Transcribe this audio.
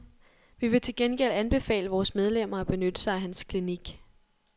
Vi vil til gengæld anbefale vores medlemmer at benytte sig af hans klinik.